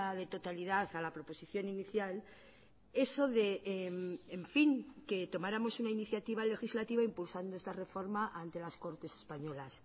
de totalidad a la proposición inicial eso de en fin que tomáramos una iniciativa legislativa impulsando esta reforma ante las cortes españolas